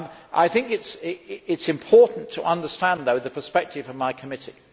I think it is important to understand, however, the perspective of my committee.